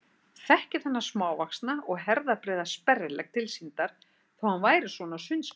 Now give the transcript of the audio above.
Þekkti þennan smávaxna og herðabreiða sperrilegg tilsýndar þó að hann væri svona á sundskýlunni.